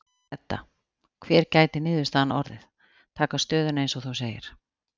Edda: Hver gæti niðurstaðan orðið, taka stöðuna eins og þú segir?